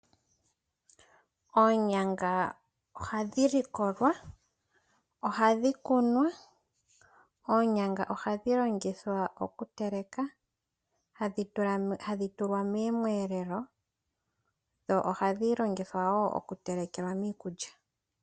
Oonyanga ohadhi likolwa, ohadhi kunwa, oonyanga ohadhi longithwa okuteleka, hadhi tulwa moomweelelo dho ohadhi longithwa wo oku telekelwa miikulya.